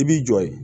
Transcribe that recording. I b'i jɔ yen